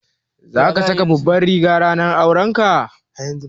Za ka saka Babbar riga ranar aurenka?